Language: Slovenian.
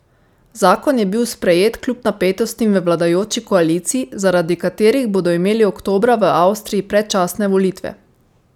Zakon je bil sprejet kljub napetostim v vladajoči koaliciji, zaradi katerih bodo imeli oktobra v Avstriji predčasne volitve.